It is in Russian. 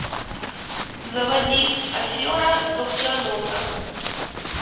заводи афера доктора нока